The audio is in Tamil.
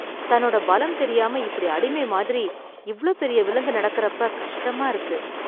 தன்னோட பலம் தெரியாம இப்படி அடிமை மாதிரி இவ்ளோ பெரிய விலங்கு நடக்கறப்ப கஷ்டமா இருக்கு.